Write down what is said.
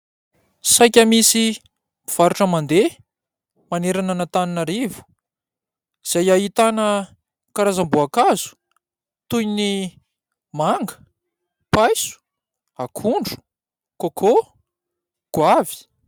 Saika misy mpivarotra mandeha manerana an-Antananarivo izay ahitana karazam-boakazo toy ny manga paiso, akondro, koko, goavy.